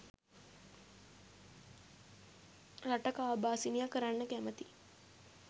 රට කාබාසිනියා කරන්න කැමති